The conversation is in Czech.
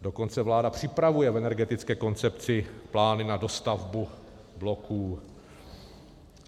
Dokonce vláda připravuje v energetické koncepci plány na dostavbu bloků.